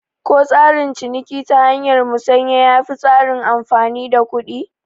Ko tsarin ciniki ta hanyar musanya yafi tsarin amfani da kuɗi?